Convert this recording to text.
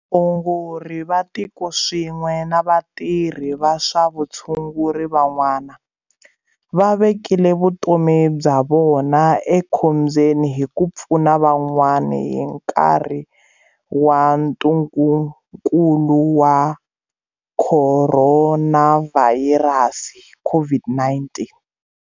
Vaongori va tikoswin'we na vatirhi va swa vushunguri van'wana, va vekile vutomi bya vona ekhombyeni hi ku pfuna van'wana hi nkarhi wa ntungukulu wa Khoronavha yirasi COVID-19.